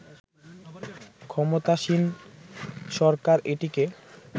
ক্ষমতাসীন সরকার এটিকে